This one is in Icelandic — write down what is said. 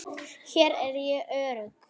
Hér er ég örugg.